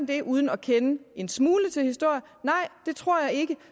det uden at kende en smule til historie nej det tror jeg ikke